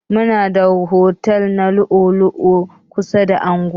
Muna da otel na lu'u lu'u kusa da anguwa.